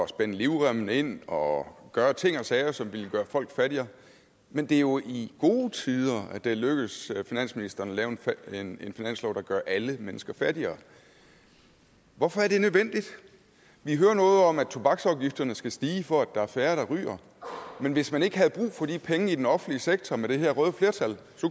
spænde livremmen ind og gøre ting og sager som ville gøre folk fattigere men det er jo i gode tider at det er lykkedes finansministeren at lave en finanslov der gør alle mennesker fattigere hvorfor er det nødvendigt vi hører noget om at tobaksafgifterne skal stige for at der er færre der ryger men hvis man ikke havde brug for de penge i den offentlige sektor med det her røde flertal